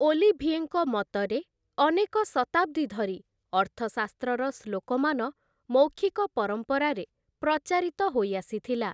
ଓଲିଭିଏଙ୍କ ମତରେ ଅନେକ ଶତାବ୍ଦୀ ଧରି ଅର୍ଥଶାସ୍ତ୍ରର ଶ୍ଳୋକମାନ ମୌଖିକ ପରମ୍ପରାରେ ପ୍ରଚାରିତ ହୋଇ ଆସିଥିଲା ।